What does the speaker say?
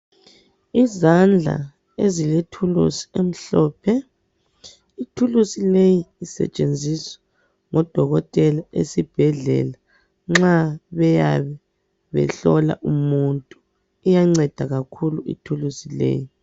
Izandla ezilethuluzi emhlophe. Ithuluzi leyi isethensizwa ngodokotela esibhedlela nxa beyabe behlola umuntu. Iyanceda kakhulu ithuluzi leyo.